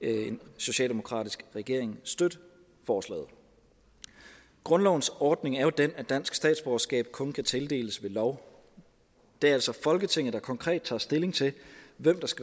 en socialdemokratisk regering støtte forslaget grundlovens ordning er jo den at dansk statsborgerskab kun kan tildeles ved lov det er altså folketinget der konkret tager stilling til hvem der skal